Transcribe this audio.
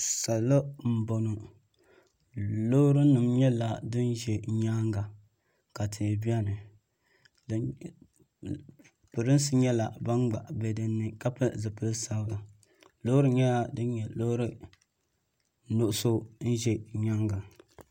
Salo m boŋɔ loori nima nyɛla din za nyaanga ka tihi biɛni pirinsi nyɛla ban gba biɛni ka pili zipil'sabila loori nyɛla din nyɛ loori nuɣuso n ʒɛ nyaanga.